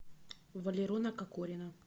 валерона кокорина